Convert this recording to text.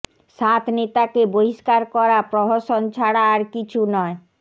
সাত নেতাকে বহিষ্কার করা প্রহসন ছাড়া আর কিছু নয়